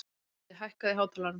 Mundi, hækkaðu í hátalaranum.